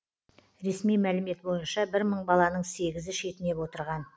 ресми мәлімет бойынша бір мың баланың сегізі шетінеп отырған